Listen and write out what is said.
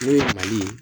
Ne ye mali